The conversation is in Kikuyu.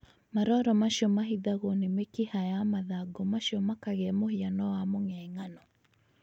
Maroro macio mahithagwo ni mĩkiha ya mathangũ macio makagĩa mũhiano wa mũng'eng'ano